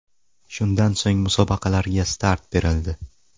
Shundan so‘ng musobaqalarga start berildi.